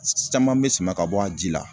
Saman be sama ka bɔ a ji la